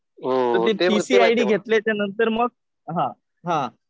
T C I D घेतल्यानंतर मग हा हा.